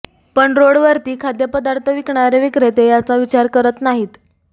पण रोडवरती खाद्यपदार्थ विकणारे विक्रेते याचा विचार करत नाहीत